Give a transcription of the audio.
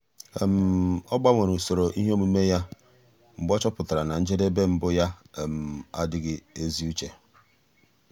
ọ́ gbanwere usoro ihe omume ya mgbe ọ́ chọ́pụ̀tárà na njedebe mbụ yá ádị́ghị́ ézi úché.